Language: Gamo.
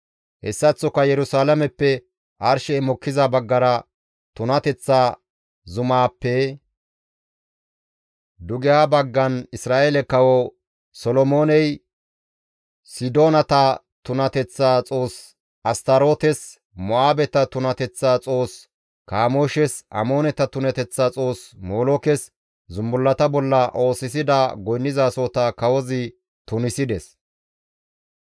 Hessaththoka Yerusalaameppe arshey mokkiza baggara tunateththa zumaappe dugeha baggan Isra7eele kawo Solomooney Sidoonata tunateththa xoos Astarootes, Mo7aabeta tunateththa xoos Kamooshes, Amooneta tunateththa xoos Molookes zumbullata bolla oosisida goynnizasohota kawozi tunisides.